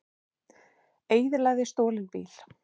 Eyðilagði stolinn bíl